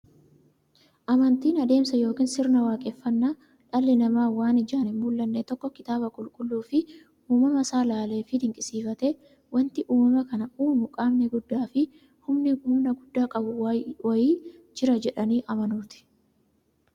Amantiin adeemsa yookiin sirna waaqeffannaa dhalli namaa waan ijaan hinmullanne tokko kitaaba qulqulluufi uumama saa ilaaleefi dinqisiifatee, wanti uumama kana uumu qaamni guddaafi humna guddaa qabu wa'ii jira jedhanii amanuuti.